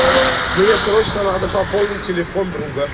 мне срочно надо пополнить телефон друга